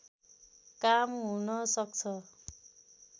काम हुन सक्छ